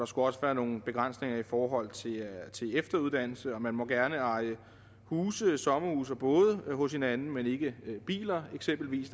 skulle også være nogle begrænsninger i forhold til efteruddannelse og man må gerne eje huse sommerhuse og både hos hinanden men ikke biler eksempelvis